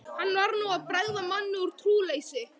Hann var nú að bregða manni um trúleysi.